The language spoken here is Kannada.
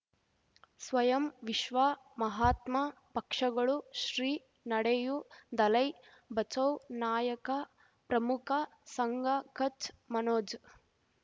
ಸ್ವಯಂ ವಿಶ್ವ ಮಹಾತ್ಮ ಪಕ್ಷಗಳು ಶ್ರೀ ನಡೆಯೂ ದಲೈ ಬಚೌ ನಾಯಕ ಪ್ರಮುಖ ಸಂಘ ಕಚ್ ಮನೋಜ್